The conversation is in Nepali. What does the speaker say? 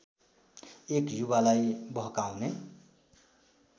एक युवालाई बहकाउने